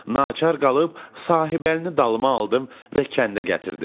Naçar qalıb Sahibəlinin dalıma aldım və kəndə gətirdim.